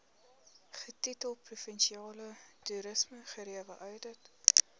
getitel provinsiale toerismegerieweoudit